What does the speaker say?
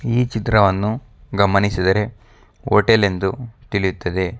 ಈ ಚಿತ್ರವನ್ನು ಗಮನಿಸಿದರೆ ಹೋಟೆಲ ನ್ನು ತಿಳಿಯುತ್ತದೆ.